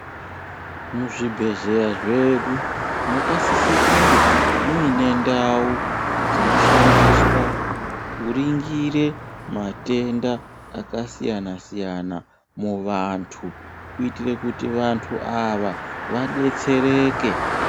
Muzvibhedhleya zvedu mwakasisa kunge muine ndau dzinoshandiswa kuringire matenda akasiyana siyana muvantu kuitira kuti vantu ava vadetsereke.